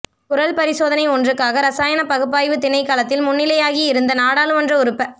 குரல் பரிசோதனை ஒன்றுக்காக இரசாயனப் பகுப்பாய்வு திணைக்களத்தில் முன்னிலையாகி இருந்த நாடாளுமன்ற உறுப்ப